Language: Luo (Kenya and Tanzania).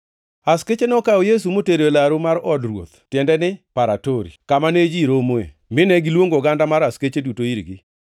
Askeche nokawo Yesu motero e laru mar od ruoth (tiende ni Paratori) kama ne ji romee, mine giluongo oganda mar askeche duto irgi.